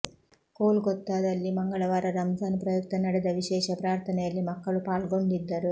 ಕೋಲ್ಕತ್ತಾದಲ್ಲಿ ಮಂಗಳವಾರ ರಂಜಾನ್ ಪ್ರಯುಕ್ತ ನಡೆದ ವಿಶೇಷ ಪ್ರಾರ್ಥನೆಯಲ್ಲಿ ಮಕ್ಕಳು ಪಾಲ್ಗೊಂಡಿದ್ದರು